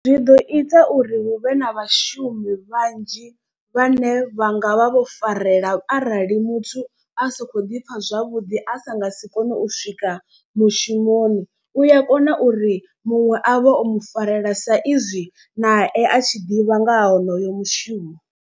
Zwi ḓo ita uri huvhe na vhashumi vhanzhi vhane vha nga vha vho farela arali muthu a sa kho ḓi pfha zwavhuḓi a sa nga si kone u swika mushumoni. U ya kona uri muṅwe a vhe o mu farela sa izwi nae a tshi ḓivha nga ha honoyo mushumo.